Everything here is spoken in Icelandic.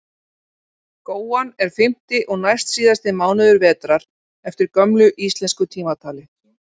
Góan er fimmti og næstsíðasti mánuður vetrar eftir gömlu íslensku tímatali.